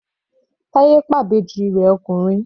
Taye pa arákùnrin rẹ̀.